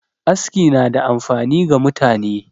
Aski na da amfani ga mutane